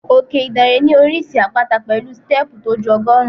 Òkè Ìdànrè ní oríṣi àpáta pẹ̀lú stẹ́ẹ̀pù tó ju ọgọ́rùn-ún.